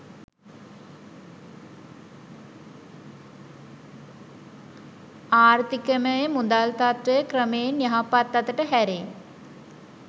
ආර්ථිකයමුදල් තත්ත්වය ක්‍රමයෙන් යහපත් අතට හැරෙයි.